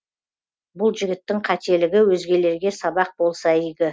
бұл жігіттің қателігі өзгелерге сабақ болса игі